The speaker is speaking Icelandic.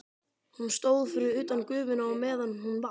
Hún stóð fyrir utan gufuna á meðan hún vatt.